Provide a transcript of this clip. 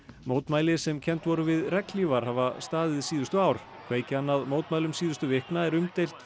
mótmæli sem kennd voru við regnhlífar hafa staðið síðustu ár kveikjan að mótmælum síðustu vikna er umdeilt